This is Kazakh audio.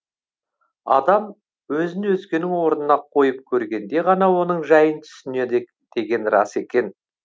адам өзін өзгенің орнына қойып көргенде ғана оның жайын түсінеді деген рас екен